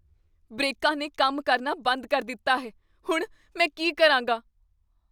ਬ੍ਰੇਕਾਂ ਨੇ ਕੰਮ ਕਰਨਾ ਬੰਦ ਕਰ ਦਿੱਤਾ ਹੈ। ਹੁਣ, ਮੈਂ ਕੀ ਕਰਾਂਗਾ?